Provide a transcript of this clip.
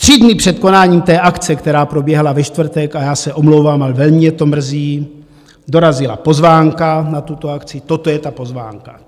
Tři dny před konáním té akce, která proběhla ve čtvrtek, a já se omlouvám, ale velmi mě to mrzí, dorazila pozvánka na tuto akci, toto je ta pozvánka.